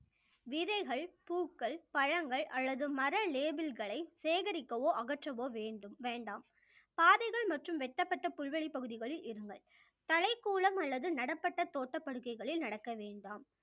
விதைகள், பூக்கள், பழங்கள் அல்லது மர லேபில்களை சேகரிக்கவோ அகற்றவோ வேண்டும் வேண்டாம் பாதைகள் மற்றும் வெட்டப்பட்ட புல்வெளிப் பகுதிகளில் இருங்கள் தலைக் கூலம் அல்லது நடைப்பட்ட தோட்டப் படுக்கைகளில் நடக்க வேண்டாம்